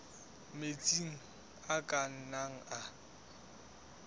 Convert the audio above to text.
metsi a ka nnang a